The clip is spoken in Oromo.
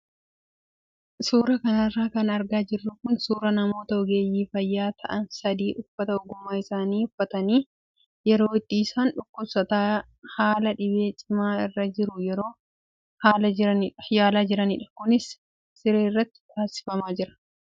Suuraa kanarra kan argaa jirru kun suuraa namoota ogeeyyii fayyaa ta'an sadii uffata ogummaa isaanii uffatanii yeroo itti isaan dhukkubsataa haala dhibee cimaa irra jiru yeroo yaalaa jiranidha. Kunis siree irratti taasifamaa jira.